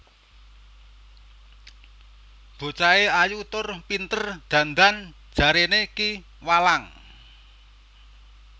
Bocahe ayu tur pinter dandan jaréné Ki Walang